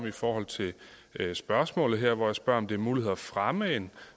i forhold til mit spørgsmål hvor jeg spørger om det mulighed at fremme en